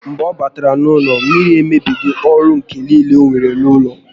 Mgbe ọ batara n'ụlọ, mmiri emebigo ọrụ ǹkà niile onwere n'ụlọ